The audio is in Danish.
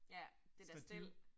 Ja, det der stel